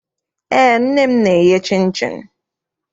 Eé, nne m na-eye chịnchịn.